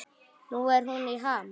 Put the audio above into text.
Nú er hún í ham.